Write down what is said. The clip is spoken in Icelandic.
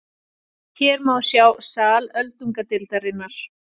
Hér má sjá sal öldungadeildarinnar.